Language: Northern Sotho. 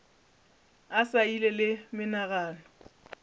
a sa ile le menagano